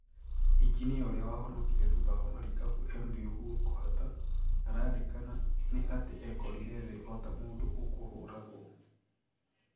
injinia ũrĩa wahonokire thutha wa marikabu MV Uhuru kũhata "ararirkana ni atĩ ekorire thi ota mũndũ ũkũhũragwo"